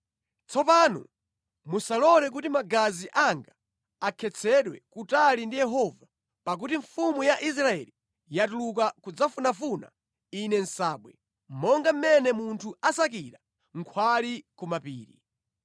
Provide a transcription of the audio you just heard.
Tsopano musalole kuti magazi anga akhetsedwe kutali ndi Yehova pakuti mfumu ya Israeli yatuluka kudzafunafuna ine nsabwe, monga mmene munthu asakira nkhwali ku mapiri.”